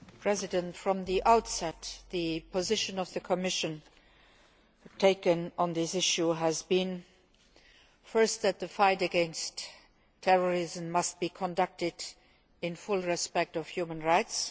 Mr President, from the outset the position the Commission has taken on this issue has been first, that the fight against terrorism must be conducted in full respect of human rights